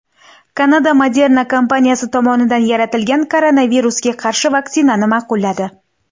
Kanada Moderna kompaniyasi tomonidan yaratilgan koronavirusga qarshi vaksinani ma’qulladi.